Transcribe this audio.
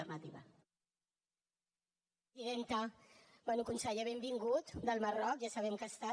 bé conseller benvingut del marroc ja sabem que hi ha estat